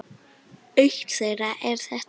Eitt þeirra er þetta